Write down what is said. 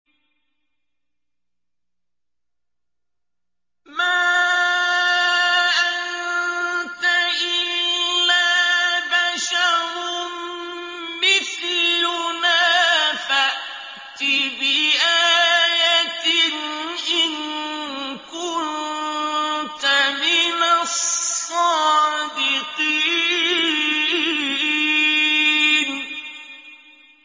مَا أَنتَ إِلَّا بَشَرٌ مِّثْلُنَا فَأْتِ بِآيَةٍ إِن كُنتَ مِنَ الصَّادِقِينَ